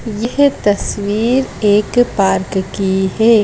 यह तस्वीर एक पार्क की है ।